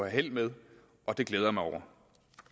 held med og det glæder jeg mig over